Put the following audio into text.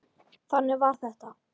Þannig var þetta!